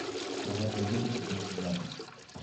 продать валюту пятнадцать батов